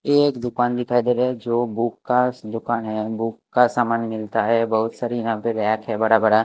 एक दुकान दिखाई दे रही है जो बुक का दुकान है बुक का सामान मिलता है बहुत सारी यहाँ पे रैक है बड़ा बड़ा --